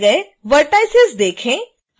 नए जोड़े गए vertices देखें